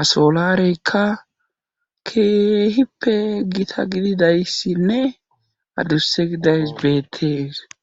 a soolareyka keehippe gita gididayssinne adusse gidays bettes